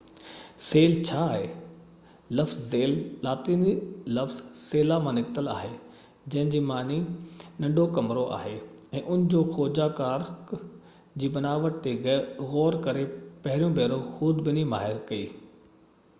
Cell ڇا آهي؟ لفظ سيل لاطيني لفظ سيلا مان نڪتل آهي جنهن جي معنيٰ ننڍو ڪمرو آهي، ۽ ان جو کوجنا ڪارڪ جي بناوٽ تي غور ڪري پهريون ڀيرو خوردبيني ماهر ڪئي